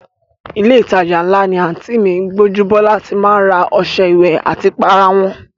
Ilé ìtajà ńlá ni àǹtí mi Gbọ́njúbọ́lá ti má ń ra ọṣẹ ìwẹ̀ àti ìpara wọn